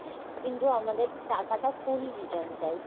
কিন্তু আমাদের টাকাটা full return চাই।